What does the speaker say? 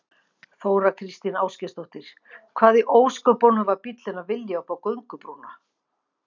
Þóra Kristín Ásgeirsdóttir: Hvað í ósköpunum var bíllinn að vilja upp á göngubrúnna?